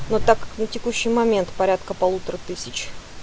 ну так как на текущий момент порядка полутора тысяч